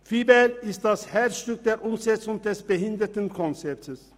VIBEL ist das Herzstück der Umsetzung des Behindertenkonzeptes.